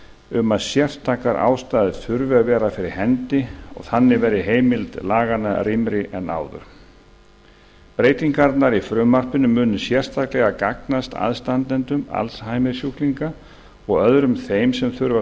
um að sérstakar aðstæður þurfi að vera fyrir hendi og þannig verður heimild laganna rýmri en áður breytingarnar í frumvarpinu munu sérstaklega gagnast aðstandendum alzheimer sjúklinga og öðrum þeim sem þurfa